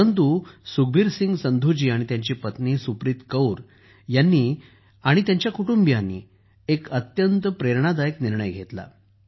परंतु सुखबीर सिंह संधूजी आणि त्यांची पत्नी सुप्रीत कौर जी यांनी त्यांच्या कुटुंबीयांनी एक अत्यंत प्रेरणादायक निर्णय घेतला